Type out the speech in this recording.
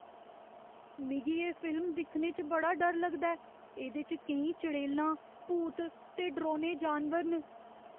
मिगी एह् फिल्म दिक्खने च बड़ा डर लगदा ऐ। एह्दे च केईं चड़ेलां, भूत ते डरौने जानवर न।